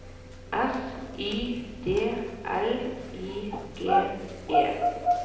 S Y D L I G E